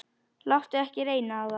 Láttu ekki reyna á það.